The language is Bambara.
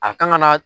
A kan ka na